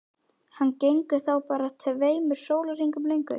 Hann gengur þá bara tveimur sólarhringum lengur.